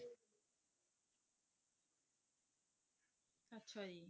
ਅੱਛਾ ਜੀ